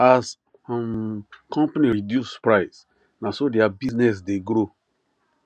as um company reduce price naso thier business dey grow